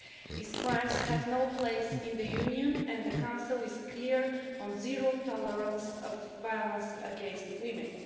These crimes have no place in the Union, and the Council is clear on zero tolerance of violence against women.